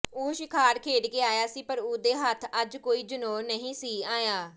ਉਹ ਸ਼ਿਕਾਰ ਖੇਡ ਕੇ ਆਇਆ ਸੀ ਪਰ ਉਹਦੇ ਹੱਥ ਅੱਜ ਕੋਈ ਜਨੌਰ ਨਹੀਂ ਸੀ ਆਇਆ